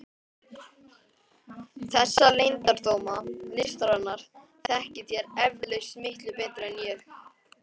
Þessa leyndardóma listarinnar þekkið þér eflaust miklu betur en ég.